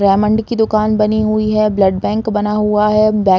Raymond की दुकान बनी हुई है। ब्लड बैंक बना हुआ है। ]